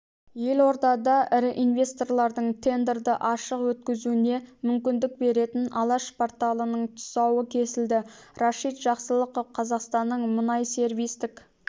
елордада ірі инвесторлардың тендерді ашық өткізуіне мүмкіндік беретін алаш порталының тұсауы кесілді рашид жақсылықов қазақстанның мұнайсервистік